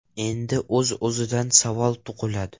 Endi o‘z-o‘zidan savol tug‘iladi.